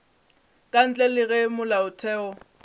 ka ntle le ge molaotheo